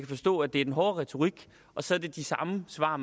forstå at det er den hårde retorik og så er det de samme svar